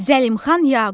Zəlimxan Yaqub.